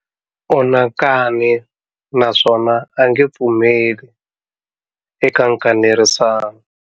U na nkani naswona a nge pfumeli eka nkanerisano.